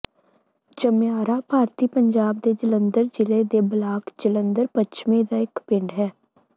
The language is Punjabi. ਚਮਿਆਰਾ ਭਾਰਤੀ ਪੰਜਾਬ ਦੇ ਜਲੰਧਰ ਜ਼ਿਲ੍ਹੇ ਦੇ ਬਲਾਕ ਜਲੰਧਰ ਪੱਛਮੀ ਦਾ ਇੱਕ ਪਿੰਡ ਹੈ